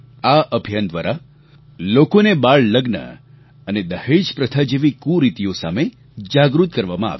આ અભિયાન દ્વારા લોકોને બાળલગ્ન અને દહેજ પ્રથા જેવી કુરીતિઓ સામે જાગૃત કરવામાં આવ્યા